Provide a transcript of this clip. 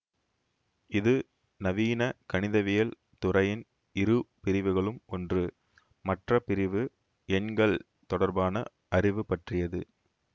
இது நவீன கணிதவியல் துறையின் இரு பிரிவுகளும் ஒன்று மற்ற பிரிவு எண்கள் தொடர்பான அறிவு பற்றியது